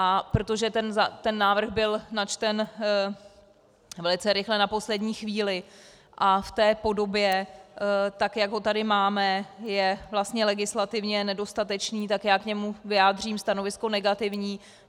A protože ten návrh byl načten velice rychle na poslední chvíli a v té podobě, tak jak ho tady máme, je vlastně legislativně nedostatečný, tak já k němu vyjádřím stanovisko negativní.